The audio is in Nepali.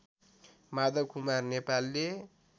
माधवकुमार नेपालले